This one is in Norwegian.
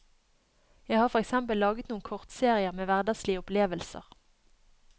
Jeg har for eksempel laget noen kortserier med hverdagslige opplevelser.